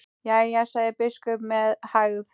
Jæja, sagði biskup með hægð.